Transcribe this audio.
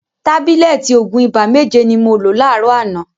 Tábílẹ̀tì òògùn ibà méje ni mo lo láàrọ̀ àná.